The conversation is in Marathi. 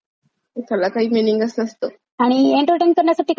आणि इंटरटेन करण्यासाठी कधी ते गेम पण बघणं चांगलंय बरका.